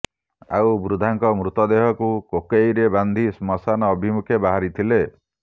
ଆଉ ବୃଦ୍ଧାଙ୍କ ମୃତଦେହକୁ କୋକଇରେ ବାନ୍ଧି ଶ୍ମଶାନ ଅଭିମୁଖେ ବାହାରିଥିଲେ